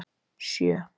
sjö